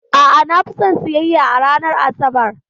A'a, na fi son siyayya a ranar Asabar.